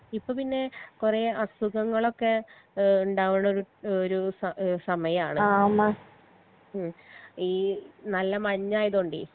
ഇപ്പൊ പിന്നെ കൊറേ അസുഖങ്ങളൊക്കെ ഏഹ് ഇണ്ടാവിണൊരു ഒരു സ ഏഹ് സമയാണ് ഉം ഈ നല്ല മഞ്ഞായതൊണ്ടേ